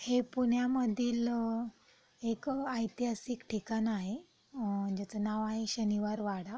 हे पुण्यामधिल एक ऐतिहासिक ठिकाण आहे. अ ज्याच नाव आहे शनिवार वाडा.